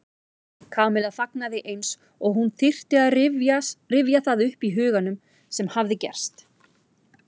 Kamilla þagnaði eins og hún þyrfti að rifja það upp í huganum sem hafði gerst.